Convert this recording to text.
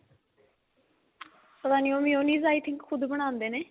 ਪਤਾ ਨੀ ਉਹ mayonnaise I think ਖੁਦ ਬਣਾਉਂਦੇ ਨੇ